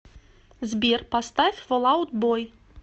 сбер поставь фол аут бой